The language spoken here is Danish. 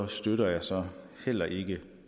støtter jeg så heller ikke